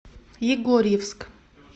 егорьевск